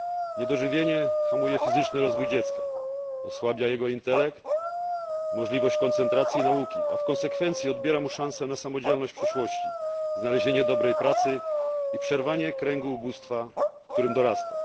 Niedożywienie hamuje fizyczny rozwój dziecka, osłabia jego intelekt, możliwość koncentracji i nauki, a w konsekwencji odbiera mu szansę na samodzielność w przyszłości, znalezienie dobrej pracy i przerwanie kręgu ubóstwa, w którym dorasta.